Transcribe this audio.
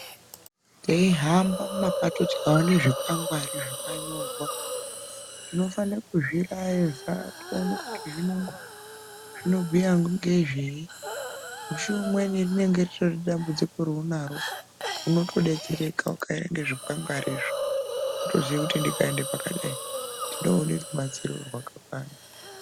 Teihamba mumapato tikaone zvikwangwari zvakanyorwa tinofane kuzvirayeza toona kuti zvinobhuya ngezveyi. Mushi umweni rinenge ritori dambudziko raurinaro unotodetsereka ukaerenge zvikwangwarizvo. Unotoziye kuti ndikaende pakadai ndinoone rubatsiro rwakakwana.